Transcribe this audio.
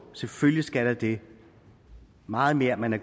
selvfølgelig skal der det meget mere man har